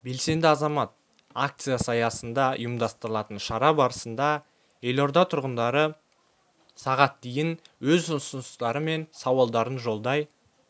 белсенді азамат акциясы аясында ұйымдастырылатын шара барысында елорда тұрғындары сағат дейін өз ұсыныстары мен сауалдарын жолдай